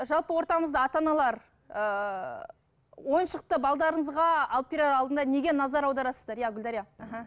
жалпы ортамызда ата аналар ыыы ойыншықты алып берер алдында неге назар аударасыздар иә гүлдәрия аха